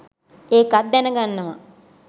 ඒකත් දැනගන්නවා.